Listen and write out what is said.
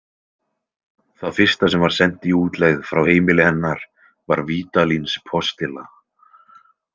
Það fyrsta sem var sent í útlegð frá heimili hennar var Vídalínspostilla.